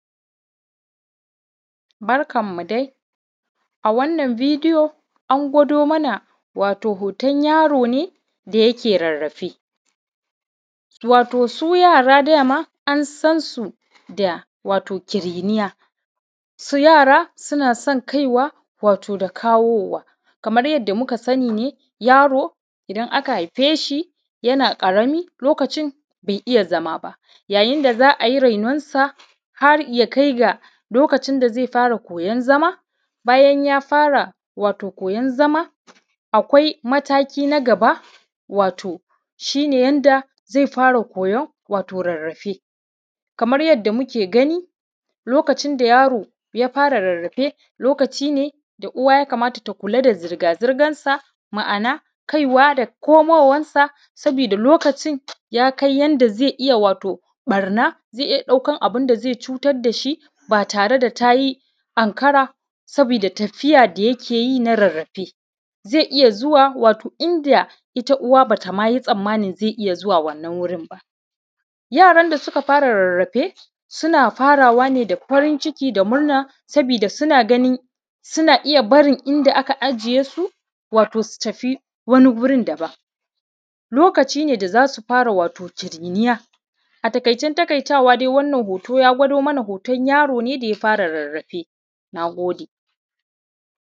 Barkanmu dai, a wanna bidiyo yana gwado mana ne wato hoton yaro ne da yake rarrafe wato su yara dama an san su da wato kiriniya su yara suna san wato kaiwa da dawowa kamar yadda muka sani ne yaro idan aka haife shi yana ƙarami lokacin be iya zama ba yayin da za a yi rainonso har ya kai lokacin da ze fara koyan zama bayan ya fara wato koyan zama akwai mataki na gaba wato shi ne yanda wato ze fara koyan wato rarrafe kamar yadda muke gani lokacin da yaro ya fara rarrafe lokacin da uwa ya kamata ta kula da zirgazirgansa ma’ana kaiwa da komowansa sabida lokacin ya kai wato lokacin da ze iya barna ze iya ɗaukan abun da ze cutar da shi ba tare da ta yi anƙara sabida tafiya da yake yi na rarrafe ze iya zuwa wato inda uwa ba ta yi tsammanin ze iya zuwa wannan wurin ba yaran da suka fara rarrafe suna farawa ne da farin ciki da murrna sabida suna ganin suna iya barin inda aka ajiye su wato su tafi wani wurin daban lokacin da za su fara wato kiriniya atakaicen taƙaitawa wannan hoto ya gwado mana hoton yaro ne da ya fara rarrafe na gode.